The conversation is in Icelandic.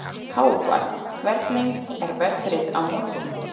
Hávarr, hvernig er veðrið á morgun?